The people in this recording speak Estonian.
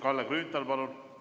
Kalle Grünthal, palun!